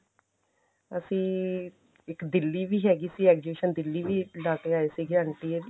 ਅਸੀਂ ਇੱਕ ਦਿੱਲੀ ਵੀ ਹੈਗੀ ਸੀ exhibition ਦਿੱਲੀ ਵੀ ਲਾਕੇ ਆਏ ਸੀ ਇੱਕ aunty